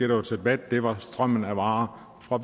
var til debat det var strømmen af varer fra